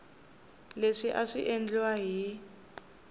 leswi a swi endliwa hi